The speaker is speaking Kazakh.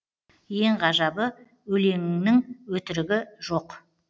ең ғажабы өлеңіңнің өтірігі жоқ